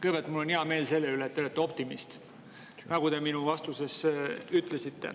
Kõigepealt, mul on hea meel selle üle, et te olete optimist, nagu te minule vastates ütlesite.